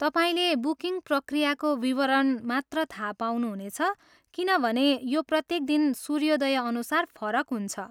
तपाईँले बुकिङ प्रक्रियाको विवरण मात्र थाहा पाउनुहुनेछ, किनभने यो प्रत्येक दिन सूर्योदय अनुसार फरक हुन्छ।